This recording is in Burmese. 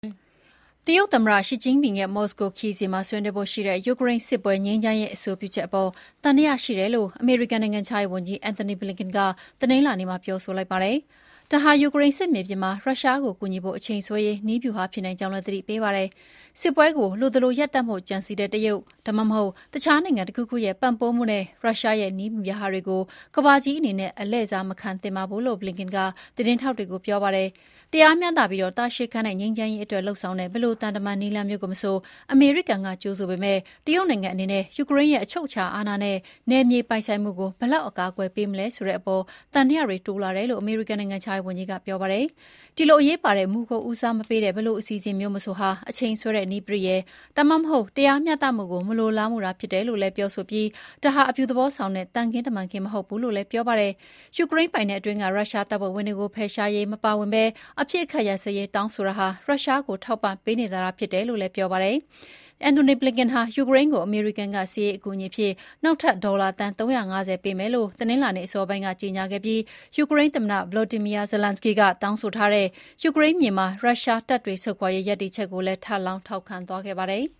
တရုတ်သမ္မတရှီကျင့်ဖျင်ရဲ့ မော်စကိုခရီးစဉ်မှာ ဆွေးနွေးဖို့ရှိတဲ့ ယူကရိန်းစစ်ပွဲ ငြိမ်းချမ်းရေးအဆိုပြုချက်အပေါ် သံသယရှိတယ်လို့ အမေရိကန်နိုင်ငံခြားရေးဝန်ကြီး အန်ထိုနီ ဘလင်ကန်က တနင်္လာနေ့မှာ ထုတ်ဖော် ပြောဆိုလိုက်ပါတယ်။ ဒါဟာ ယူကရိန်းစစ်မြေပြင်မှာ ရုရှားကိုကူညီဖို့အချိန်ဆွဲရေး နည်းဗျူဟာဖြစ်နိုင်ကြောင်း သတိပေးလိုက်ပါတယ်။ “စစ်ပွဲကို လိုသလိုရပ်တန့်ဖို့ကြံစည်တဲ့ တရုတ် ဒါမှမဟုတ် တခြားနိုင်ငံတခုခုရဲ့ပံ့ပိုးမှုနဲ့ ရုရှားရဲ့ နည်းဗျူဟာတွေကို ကမ္ဘာကြီးအနေနဲ့ အလှည့်စားမခံသင့်ပါဘူး” လို့ ဘလင်ကန်က သတင်းထောက်တွေကို ပြောပါတယ်။ "တရားမျှတပြီး တာရှည်ခံတဲ့ငြိမ်းချမ်းရေး" အတွက်လုပ်ဆောင်တဲ့ ဘယ်လိုသံတမန် နည်းလမ်းမျိုးကိုမဆို အမေရိကန်ကကြိုဆိုပေမယ့် တရုတ်နိုင်ငံအနေနဲ့ ယူကရိန်းရဲ့ "အချုပ်အခြာအာဏနဲ့ နယ်မြေပိုင်ဆိုင်မှု" ကို ဘယ်လောက် အကာအကွယ်ပေးမလဲဆိုတာအပေါ် သံသယတွေတိုးလာတယ်လို့ အမေရိကန်နိုင်ငံခြားရေးဝန်ကြီးက ပြောပါတယ်။ "ဒီလို အရေးပါတဲ့မူကို ဦးစားမပေးတဲ့ ဘယ်လိုအစီအစဉ်မျိုးမဆိုဟာ အချိန်ဆွဲတဲ့နည်းပရိယာယ်၊ ဒါမှမဟုတ် တရားမျှတမှုကို မလိုလားတာသာဖြစ်တယ်လို့ဆိုပြီး ဒါဟာ အပြုသဘောဆောင်တဲ့ သံခင်းတမန်ခင်း မဟုတ်ဘူး" လို့ ဘလင်ကန်က ပြောပါတယ်။ "ယူကရိန်းပိုင်နက်အတွင်းက ရုရှားတပ်ဖွဲ့ဝင်တွေကို ဖယ်ရှားရေးမပါဝင်ဘဲ အပစ်အခတ်ရပ်စဲရေး တောင်းဆိုတာဟာ ရုရှားကို ထောက်ပံ့ပေးနေတာသာ ဖြစ်တယ်" လို့ လည်း သူက ပြောပါတယ်။ ဘလင်ကန်ဟာ ယူကရိန်းကို အမေရိကန်က စစ်ရေးအကူအညီအဖြစ် နောက်ထပ် ဒေါ်လာ သန်း ၃၅၀ ပေးမယ်လို့ တနင်္လာနေ့အစောပိုင်းက ကြေညာခဲ့ပြီး ယူကရိန်းသမ္မတ ဗလော်ဒီမီယာ ဇလန်းစကီ (Volodymyr Zelensky) က တောင်းဆိုထားတဲ့ “ယူကရိန်းမြေက ရုရှားတပ်တွေ ဆုတ်ခွာရေး” ရပ်တည်ချက်ကိုလည်း ဘလင်ကန်က ထပ်လောင်းထောက်ခံခဲ့ပါတယ်။